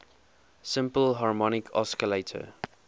simple harmonic oscillator